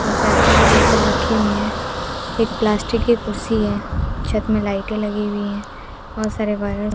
और पेप्सी की बोतल रखी हुई है एक प्लास्टिक की कुर्सी है छत में लाइटे लगी हुई है बहोत सारे वायर --